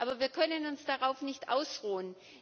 Aber wir können uns darauf nicht ausruhen!